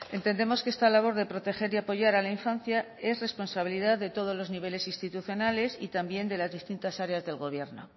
entendemos que esta labor de proteger y apoyar a la infancia es responsabilidad de todos los niveles institucionales y también de las distintas áreas del gobierno